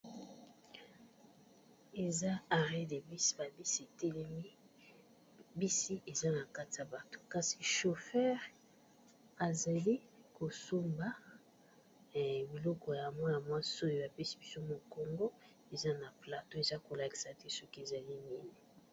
Eza arrêt de bus, ba bisi etelemi bisi eza na kati ya bato kasi chauffeur azali kosomba biloko ya mwana mwasi oyo apesi biso mokongo eza na plateau eza ko lakisa te soki ezali nini.